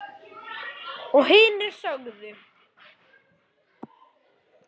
Og hinir sögðu